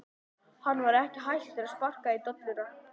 Hann var ekki hættur að sparka í dolluna!